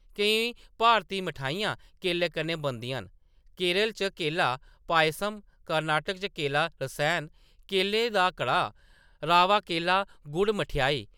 केईं भारती मठेआइयां केले कन्नै बनदियां न, केरल च केला पायसम, कर्नाटक च केला रसैन, केलें दा कड़ाह्‌‌, रावा केला गुड़ मठेआई ।